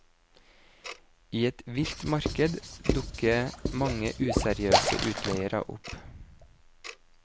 I et vilt marked dukker mange useriøse utleiere opp.